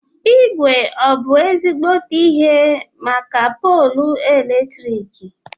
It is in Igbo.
Ígwé ọ bụ ezígbóté ihe màkà poolu latriki?